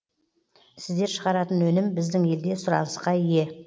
сіздер шығаратын өнім біздің елде сұранысқа ие